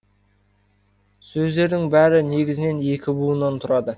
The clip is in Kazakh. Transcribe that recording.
сөздердің бәрі негізінен екі буыннан тұрады